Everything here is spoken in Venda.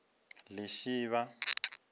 lishivha